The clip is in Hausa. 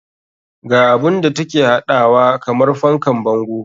Ga abun da take haɗawa kamar fankan bango.